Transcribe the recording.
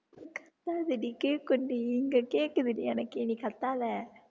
கத்தாதடி கேக்கும்டி இங்க கேக்குதுடி எனக்கே நீ கத்தாதே